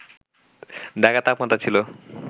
ঢাকার তাপমাত্রা ছিল